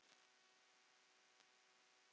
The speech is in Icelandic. Tvær flugur í einu höggi.